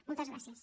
moltes gràcies